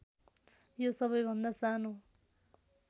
यो सबैभन्दा सानो